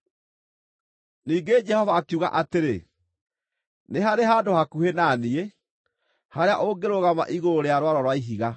Ningĩ Jehova akiuga atĩrĩ, “Nĩ harĩ handũ hakuhĩ na niĩ, harĩa ũngĩrũgama igũrũ rĩa mwaro rwa ihiga.